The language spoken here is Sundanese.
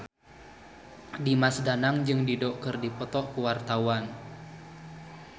Dimas Danang jeung Dido keur dipoto ku wartawan